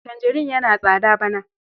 Tanjarin yana tsada bana.